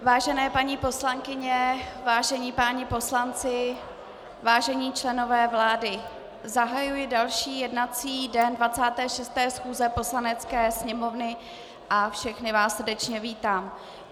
Vážené paní poslankyně, vážení páni poslanci, vážení členové vlády, zahajuji další jednací den 26. schůze Poslanecké sněmovny a všechny vás srdečně vítám.